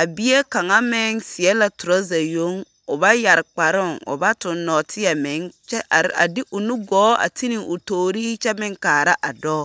A bie kaŋa meŋ seɛ la toraza yoŋo ba yɛre kparoo, o ba toŋ nɔɔteɛ meŋ, kyɛ are a de o nugɔɔ a ti ne o toorii kyɛ meŋ kaara dɔɔ.